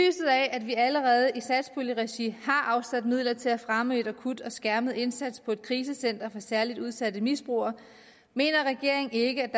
at vi allerede i satspuljeregi har afsat midler til at fremme en akut og skærmet indsats på et krisecenter for særlig udsatte misbrugere mener regeringen ikke